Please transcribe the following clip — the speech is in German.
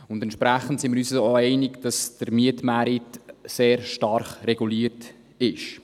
Entsprechend sind wir uns auch einig, dass der Mietmarkt sehr stark reguliert ist.